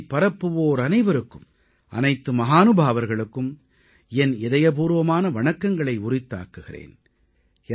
ஞானத்தைப் பரப்புவோர் அனைவருக்கும் அனைத்து மஹானுபாவர்களுக்கும் என் இதயபூர்வமான வணக்கங்களை உரித்தாக்குகிறேன்